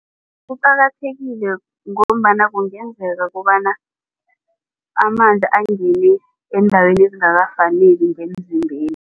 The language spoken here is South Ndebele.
Kuqakathekile ngombana kungenzeka ukobana amanzi angene eendaweni ezingakafaneli ngemzimbeni.